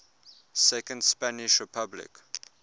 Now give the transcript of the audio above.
second spanish republic